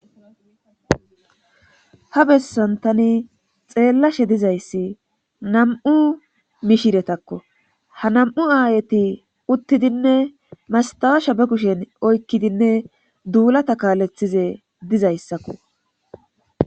Ha bessan tani xeellashe dizayssi nam7u mishiretakko ha nam7u aayati uttidinne mastawaasha ba kushen oykkidinne duulata kaalethize dizayssakko.